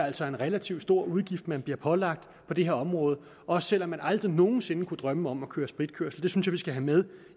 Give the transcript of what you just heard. altså en relativt stor udgift man bliver pålagt på det her område også selv om man aldrig nogen sinde kunne drømme om at køre spritkørsel det synes jeg vi skal have med